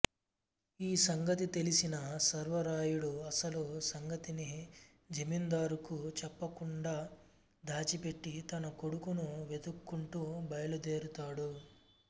ఈ సంగతి తెలిసిన సర్వరాయుడు అసలు సంగతిని జమీందారుకు చెప్పకుండా దాచిపెట్టి తన కొడుకును వెతుక్కుంటూ బయలుదేరుతాడు